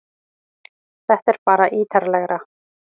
Þetta er bara ítarlegra